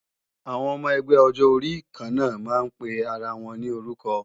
Àwọn ọmọ ẹgbẹ́ ọjọ orí kanna máa ń pe ara wọn ní orúkọ